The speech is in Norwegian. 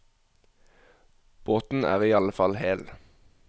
Båten er i alle fall hel.